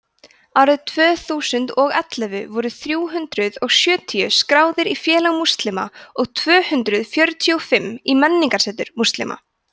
árið tvö þúsund og ellefu voru þrjú hundruð og sjötíu skráðir í félag múslima og tvö hundruð sjötíu og fimm í menningarsetur múslima